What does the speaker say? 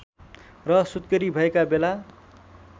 र सुत्केरी भएका बेला